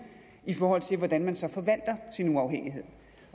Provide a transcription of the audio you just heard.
i forhold til hvordan man så forvalter sin uafhængighed